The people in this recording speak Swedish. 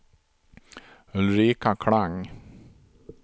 Ulrika Klang